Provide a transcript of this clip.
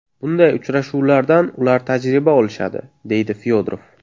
Bunday uchrashuvlardan ular tajriba olishadi”, deydi Fyodorov.